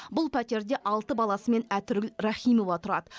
бұл пәтерде алты баласымен әтіргүл рахимова тұрады